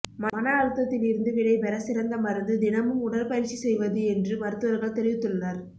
மன அழுத்தத்தில் இருந்து விடைபெற சிறந்த மருந்து தினமும் உடற்பயிற்சி செய்வது என்று மருத்துவர்கள் தெரிவித்துள்ளனர்